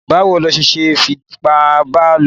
Báwo ló ṣe fipá ba lò?